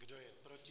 Kdo je proti?